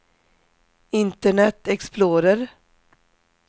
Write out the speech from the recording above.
internet explorer